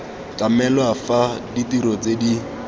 tlamelwa fa ditiro tse di